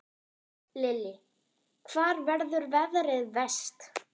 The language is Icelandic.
Lillý: Hvar verður veðrið verst?